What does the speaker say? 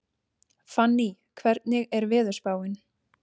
Fanný, hvernig er veðurspáin?